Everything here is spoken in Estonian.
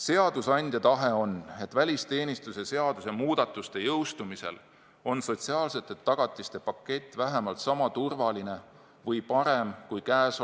Seadusandja tahe on, et välisteenistuse seaduse muudatuse jõustumisel on sotsiaalsete tagatiste pakett vähemalt sama turvaline või parem kui praegu.